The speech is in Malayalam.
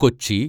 കൊച്ചി